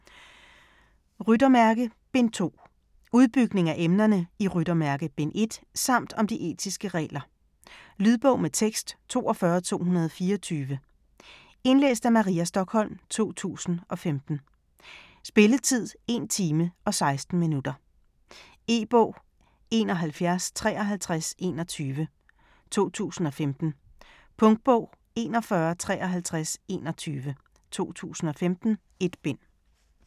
Ryttermærke: Bind 2 Udbygning af emnerne i Ryttermærke bind 1 samt om de etiske regler. Lydbog med tekst 42224 Indlæst af Maria Stokholm, 2015. Spilletid: 1 time, 16 minutter. E-bog 715321 2015. Punktbog 415321 2015. 1 bind.